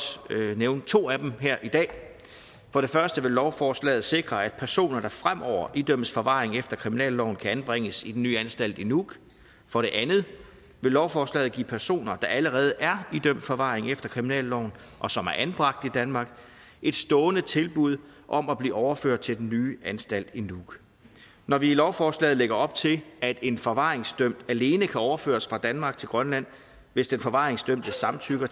nævne to af dem her i dag for det første vil lovforslaget sikre at personer der fremover idømmes forvaring efter kriminalloven kan anbringes i den nye anstalt i nuuk for det andet vil lovforslaget give personer der allerede er idømt forvaring efter kriminalloven og som er anbragt i danmark et stående tilbud om at blive overført til den nye anstalt i nuuk når vi i lovforslaget lægger op til at en forvaringsdømt alene kan overføres fra danmark til grønland hvis den forvaringsdømte samtykker